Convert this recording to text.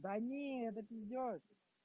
да не это пиздёж